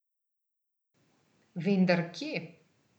Vendar kje?